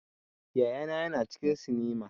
Yaya na ya na cikin sinima